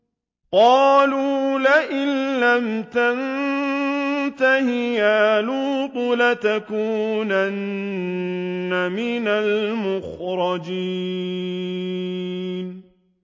قَالُوا لَئِن لَّمْ تَنتَهِ يَا لُوطُ لَتَكُونَنَّ مِنَ الْمُخْرَجِينَ